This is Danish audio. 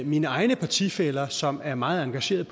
mine egne partifæller som er meget engagerede